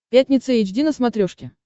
пятница эйч ди на смотрешке